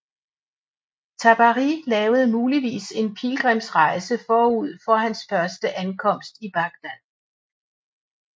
Tabari lavede muligvis en pilgrimsrejse forud for hans første ankomst i Bagdad